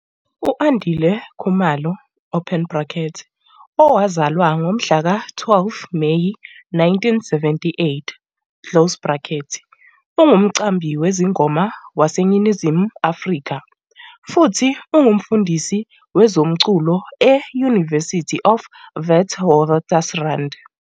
U-Andile Khumalo, owazalwa ngomhlaka 12 Meyi 1978, ungumqambi wezingoma waseNingizimu Afrika futhi ungumfundisi wezomculo e- University of Witwatersrand.